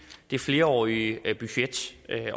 det flerårige budget